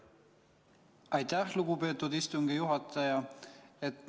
Aitäh, lugupeetud istungi juhataja!